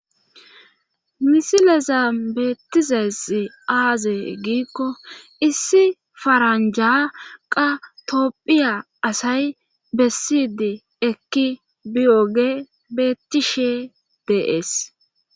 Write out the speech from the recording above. misilezambeetizays aaze giikko issi faranjaqa toopphiya asay bessidi ekki biyoge bettishe de'ees